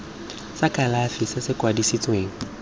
sa kalafi se se kwadisitsweng